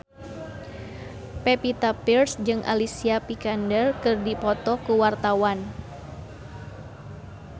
Pevita Pearce jeung Alicia Vikander keur dipoto ku wartawan